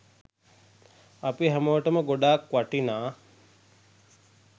අපි හැමෝටම ගොඩක් වටිනා